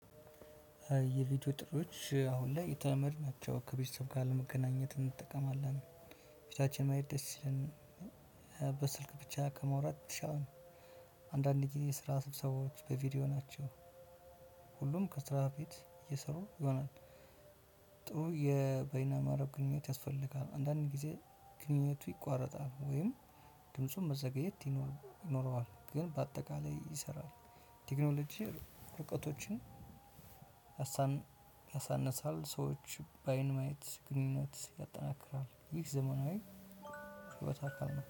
የቪዲዮ ጥሪዎች አሁን ላይ የተመድ ናቸው ከቤተሰብ ጋር ለመገናኘት እንጠቀማለን። ቤታችን መሄድ ደስ ሲለን በስልክ ብቻ ከማውራት የተሻለ ነው። አንዳንድ ጊዜ ስራ ስብሰባዎች በቪዲዮ ናቸው። ሁሉም ከስራ በፊት እየሰሩ ይሆናል። ጥሩ የበይነመረብ ግንኙነት ያስፈልጋል አንዳንዴ ጊዜ ግንኙነቱ ይቋረጣል ወይም ድምፁም መዘገየት ይኖ ይኖረዋል ግን በአጠቃላይ ይሰራል። ቴክኖሎጂ ርቀቶችን ያሳንሳል። ሰዎች በአይን ማየት ግንኙነት ያጠናክራል። ይህ ዘመናዊ ክበታታም